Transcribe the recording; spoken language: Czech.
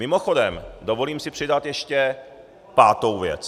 Mimochodem, dovolím si přidat ještě pátou věc.